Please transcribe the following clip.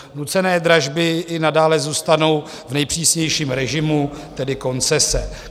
Nucené dražby i nadále zůstanou v nejpřísnějším režimu, tedy koncese.